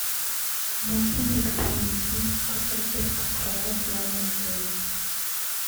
можно ли дополнительно заказать детскую кровать в номер отеля